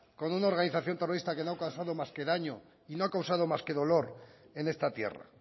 con una organización terrorista que no ha causado más que daño y no ha causado más que dolor en esta tierra